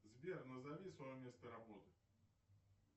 сбер назови свое место работы